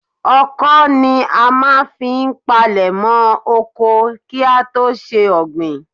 Ọkọ́ ni a máa ń fi palèmọ́ oko kí á tó ṣe ọ̀gbìn.